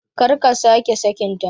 Karka sake sakin ta